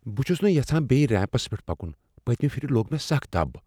بہٕ چھس نہٕ یژھان بیٚیہ ریمپس پیٹھ پکُن۔ پتۍمہِ پھِرِ لوٚگ مےٚ سخ دب ۔